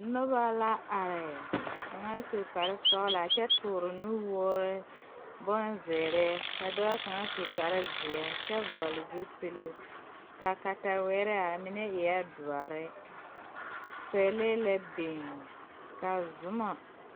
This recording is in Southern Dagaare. Nobɔ la are kaŋa su kparesɔglaa kyɛ tooroo nuwoore meŋ bonzeere ka dɔɔ kaŋa su kparezeɛ a kyɛ vɔgle zupile kaa katawirre are mine eɛɛ doɔre pɛlee la biŋ ka zumɔ.